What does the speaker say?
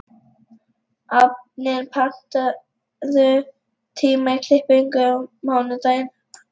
Anfinn, pantaðu tíma í klippingu á mánudaginn.